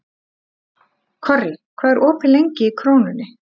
Korri, hvað er opið lengi í Krónunni?